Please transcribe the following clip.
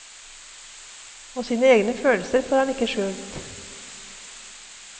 Og sine egne følelser får han ikke skjult.